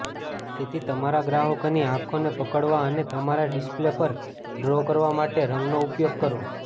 તેથી તમારા ગ્રાહકોની આંખોને પકડવા અને તમારા ડિસ્પ્લે પર ડ્રો કરવા માટે રંગનો ઉપયોગ કરો